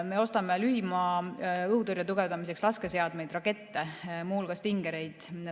Me ostame lühimaa-õhutõrje tugevdamiseks laskeseadmeid, rakette, muu hulgas Stingereid.